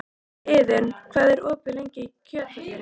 Iðunn, hvað er opið lengi í Kjöthöllinni?